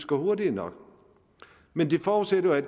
går hurtigt nok men det forudsætter at